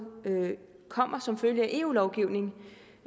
kommer som følge af eu lovgivning